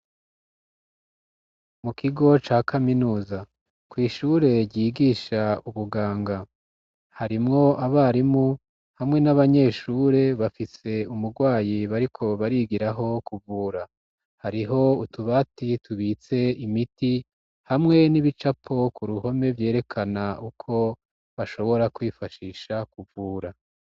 Mu kigo ca kaminuza kw'ishure ryigisha ubuganga harimwo abarimu hamwe n'abanyeshure, bafise umurwayi bariko barigiraho kuvura. Hariho utubati tubitse imiti hamwe n'ibicapo ku ruhome vyerekana uko bashobora kwifashisha kuvura.